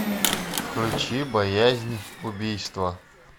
включи боязнь убийства